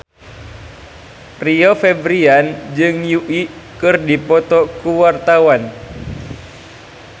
Rio Febrian jeung Yui keur dipoto ku wartawan